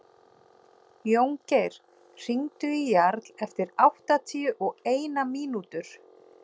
Jóngeir, hringdu í Jarl eftir áttatíu og eina mínútur.